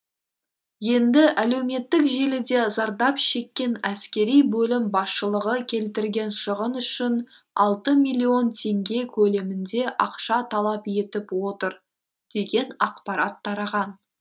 енді әлеуметтік желіде зардап шеккен әскери бөлім басшылығы келтірген шығын үшін алты миллион теңге көлемінде ақша талап етіп отыр деген ақпарат тараған